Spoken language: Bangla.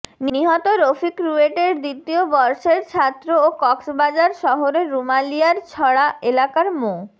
নিহত রফিক রুয়েটের দ্বিতীয় বর্ষের ছাত্র ও কক্সবাজার শহরের রুমালিয়ারছড়া এলাকার মো